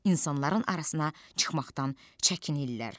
İnsanların arasına çıxmaqdan çəkinirlər.